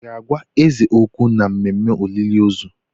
Ị ga-agwa eze okwu n'ememe olili ozu?